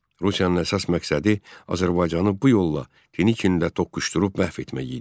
Rusiyanın əsas məqsədi Azərbaycanı bu yolla Denikində toqquşdurub məhv etmək idi.